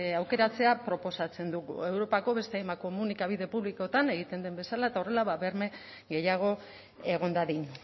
aukeratzea proposatzen dugu europako beste hainbat komunikabide publikotan egiten den bezala eta horrela berme gehiago egon dadin